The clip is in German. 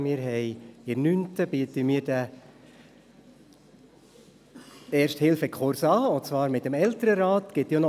Wir bieten in den 9. Klassen gemeinsam mit dem Elternrat den Erste-Hilfe-Kurs an.